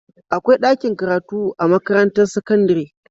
Akwai ɗakin karatu a makarantar sakandare